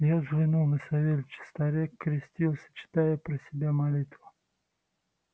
я взглянул на савельича старик крестился читая про себя молитву